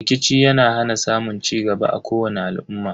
Rikici yana hana samun cigaba a kowani al'umma.